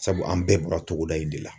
Sabu an bɛɛ bɔra togoda in de la